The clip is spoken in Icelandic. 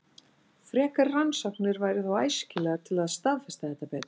Frekari rannsóknir væru þó æskilegar til að staðfesta þetta betur.